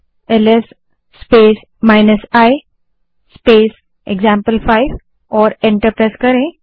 LS space i space example five command type करें और enter दबायें